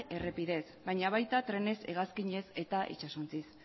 errepidez baina baita trenez hegazkinez eta itsasontziz